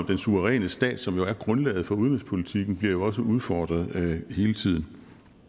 den suveræne stat som jo er grundlaget for udenrigspolitikken bliver også udfordret hele tiden